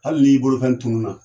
Hali n'i bolofɛn tunun na